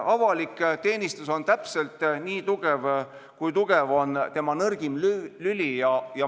Avalik teenistus on täpselt nii tugev, kui tugev on tema nõrgim lüli.